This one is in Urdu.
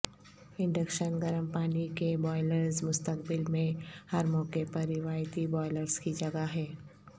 انڈکشن گرم پانی کے بوائیلرز مستقبل میں ہر موقع پر روایتی بوائیلرز کی جگہ ہے